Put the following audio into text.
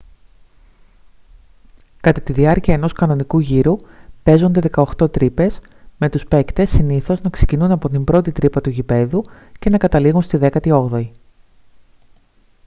κατά τη διάρκεια ενός κανονικού γύρου παίζονται 18 τρύπες με τους παίκτες συνήθως να ξεκινούν από την πρώτη τρύπα του γηπέδου και να καταλήγουν στη δέκατη όγδοη